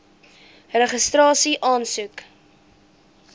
registrasieaansoek